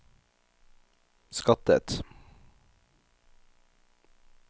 skattet